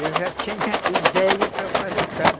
Eu já tinha ideia para fazer casa.